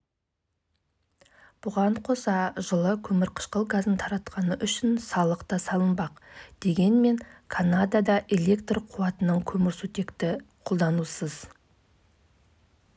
кәсіпкер мұнымен шектелмек емес алдағы уақытта консалтингтік компания ашуға бел буып отыр мағжан жұмабаевтың мен жастарға